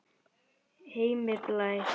Heimir Blær.